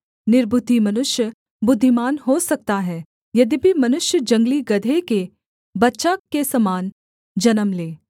निर्बुद्धि मनुष्य बुद्धिमान हो सकता है यद्यपि मनुष्य जंगली गदहे के बच्चा के समान जन्म ले